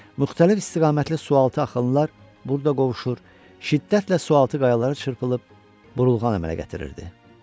Müxtəlif istiqamətli sualtı axınlar burda qovuşur, şiddətlə sualtı qayalara çırpılıb burulğan əmələ gətirirdi.